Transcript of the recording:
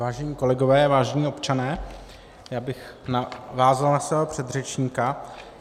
Vážení kolegové, vážení občané, já bych navázal na svého předřečníka.